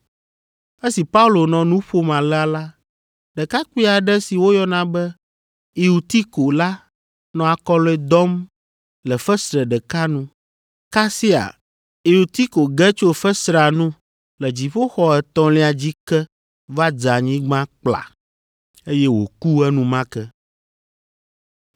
Esi Paulo nɔ nu ƒom alea la, ɖekakpui aɖe si woyɔna be Eutiko la nɔ akɔlɔ̃e dɔm le fesre ɖeka nu. Kasia, Eutiko ge tso fesrea nu le dziƒoxɔ etɔ̃lia dzi ke va dze anyigba kpla, eye wòku enumake.